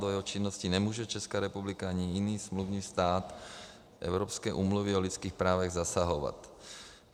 Do jeho činnosti nemůže Česká republika ani jiný smluvní stát Evropské úmluvy o lidských právech zasahovat.